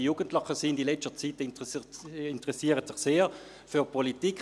Die Jugendlich interessieren sich in letzter Zeit sehr für Politik.